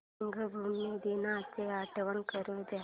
रंगभूमी दिनाची आठवण करून दे